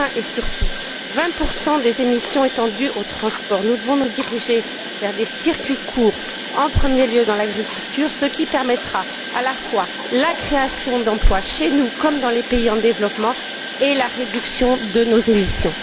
Enfin et surtout, 20 des émissions étant dues au transport, nous devons nous diriger vers des circuits courts en premier lieu dans l'agriculture, ce qui permettra à la fois la création d'emplois chez nous comme dans les pays en développement et la réduction de nos émissions.